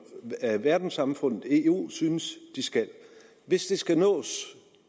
verdenssamfundet som eu synes de skal hvis det skal nås